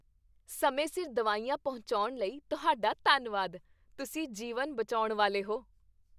ਸਮੇਂ ਸਿਰ ਦਵਾਈਆਂ ਪਹੁੰਚਾਉਣ ਲਈ ਤੁਹਾਡਾ ਧੰਨਵਾਦ। ਤੁਸੀਂ ਜੀਵਨ ਬਚਾਉਣ ਵਾਲੇ ਹੋ।